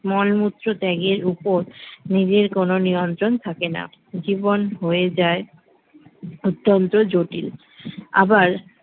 মলমূত্রত্যাগের উপর নিজের কোন নিয়ন্ত্রণ থাকেনা জীবন হয়ে যায় অত্যন্ত জটিল আবার